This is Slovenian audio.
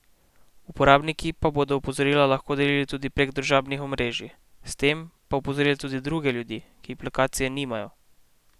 Uporabniki pa bodo opozorila lahko delili tudi prek družbenih omrežij, s tem pa opozorili tudi druge ljudi, ki aplikacije nimajo.